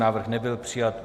Návrh nebyl přijat.